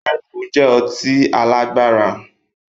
Red Bull jẹ ọtí alagba